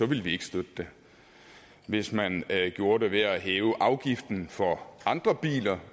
ville vi ikke støtte det hvis man gjorde det ved at hæve afgiften for andre biler